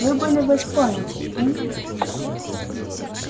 вы были в вест-пойнте и